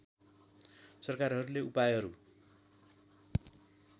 सरकारहरूले उपायहरू